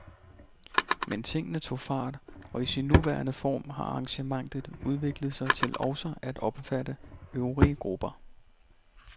Men tingene tog fart, og i sin nuværende form har arrangementet udviklet sig til også at omfatte øvrige grupper.